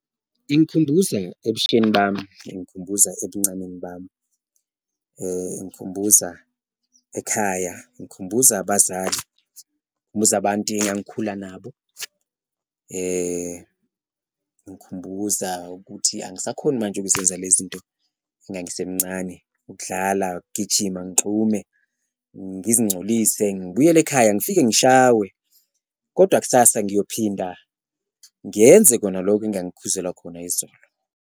Ingikhumbuza ebusheni bami, ingikhumbuza ebuncaneni bami, ingikhumbuza ekhaya, ingikhumbuza abazali, abantu engangikhuluma nabo, ingikhumbuza ukuthi angisakhoni manje ukuzenza lezi nto engangisemcane, ukudlala, ukugijima, ngigxume ngizincolise. Ngibuyele ekhaya ngifike ngishawe kodwa kusasa ngiyophinda ngiyenze kona loko engangikhuzelwa khona izolo.